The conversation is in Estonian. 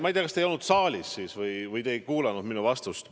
Ma ei tea, kas te ei olnud saalis või te ei kuulanud minu vastust.